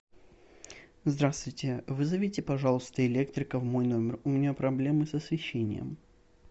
здравствуйте вызовите пожалуйста электрика в мой номер у меня проблемы с освещением